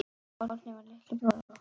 Árni var litli bróðir okkar.